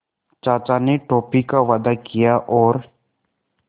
चाचा ने टॉफ़ी का वादा किया और